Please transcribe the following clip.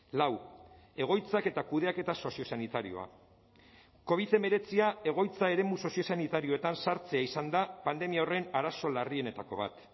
lau egoitzak eta kudeaketa soziosanitarioa covid hemeretzia egoitza eremu soziosanitarioetan sartzea izan da pandemia horren arazo larrienetako bat